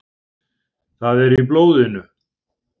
Það er í blóðinu.